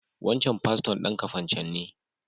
Wancan paston dan Kafacan ne.